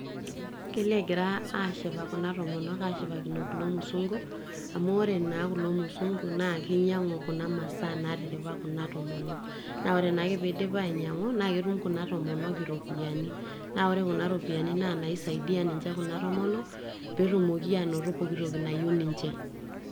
kelo egira kuna toomonok ashipakino kulo musunku amu wore naa kulo musunku naa kinyang'u kuna masaa natiripa kuna tomonok naa ore naake pee edip ainyang'u naa ketum kuna tomonok iropiyiani na wore kuna ropiyiani naa nai saidia kuna tomonok petumoki anoto pooki toki nayieu ninche.